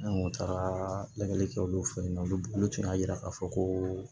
An kun taara lajɛli kɛ olu fɛ yen nɔ olu tun y'a yira k'a fɔ ko